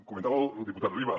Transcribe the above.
comentava el diputat riba